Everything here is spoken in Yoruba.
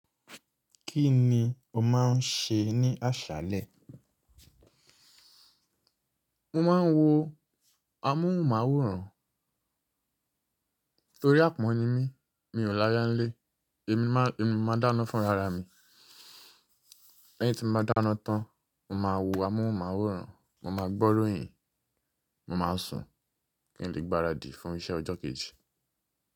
Kí ni o máa ń ṣe ní àṣálẹ? Mo máa ń wo amóhùnmáwòrán torí àpọ́n ni mí. Mi ò láyá ń lé, èmi máa dáná fúnrararami. Lẹ́yìn tí mo bá dáná tán, mo máa wo amóhùnmáwòrán, mo máa gbọ́ ìròyìn, mo máa sùn kí n lè gbaradì fún iṣẹ́ ọjọ́ kejì.